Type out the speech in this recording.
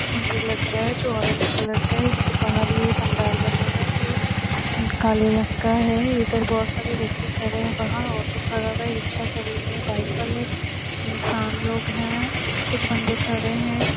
मंदिर लग रहा है जो ओरेज कलर का है बहार ही पंडाल बना हुआ है जो काले रंग का है इधर बहोत सारे व्यक्ति खड़े है वहा ओटो खड़ा है रिक्शा खड़ी है बाइक वाले इंशान लोग है कुछ बन्दे खड़े है।